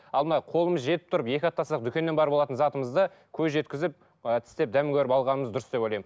ал мынау қолымыз жетіп тұрып екі атассақ дүкеннен барып алатын затымызды көз жеткізіп ы тістеп дәмін көріп алғанымыз дұрыс деп ойлаймын